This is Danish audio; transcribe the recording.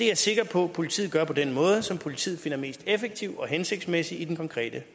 jeg sikker på at politiet gør på den måde som politiet finder mest effektiv og hensigtsmæssig i den konkrete